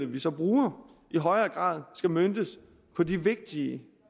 vi så bruger i højere grad skal møntes på de vigtige